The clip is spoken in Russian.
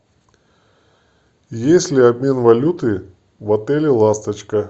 есть ли обмен валюты в отеле ласточка